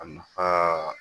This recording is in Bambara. A nafa